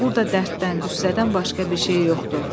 Burda dərddən, qüssədən başqa bir şey yoxdur.